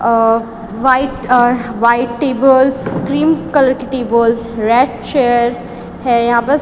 अ white uh र white tables cream colour की tables red chair है यहां बस--